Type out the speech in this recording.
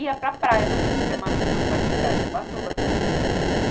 Ia para a praia nos fins de semana, que meus pais têm casa em Ubatuba, tudo.